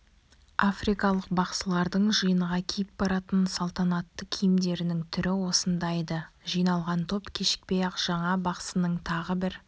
африкалық бақсылардың жиынға киіп баратын салтанатты киімдерінің түрі осындай-ды жиналған топ кешікпей-ақ жаңа бақсының тағы бір